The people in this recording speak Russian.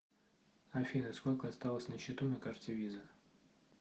афина сколько осталось на счету на карте виза